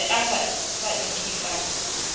ne a sa itlwe ka